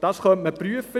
Das könnte man prüfen.